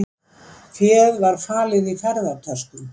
Féð var falið í ferðatöskum